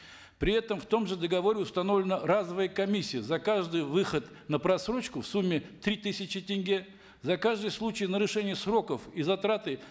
при этом в том же договоре установлена разовая комиссия за каждый выход на просрочку в сумме три тысячи тенге за каждый случай нарушения сроков и затраты